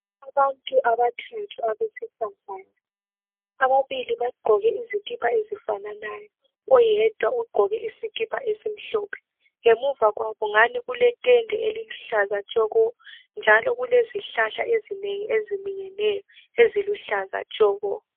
Abantu abathathu abesifazana ababili bagqoke izikipa ezifananayo oyedwa ugqoke esimhlophe ngemuvakwabo ngathi kuletende eliluhlaza tshoko njalo kulezihlahla ezinengi eziminyeneyo eziluhlaza tshoko.